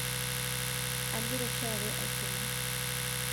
agira oshiake aisuma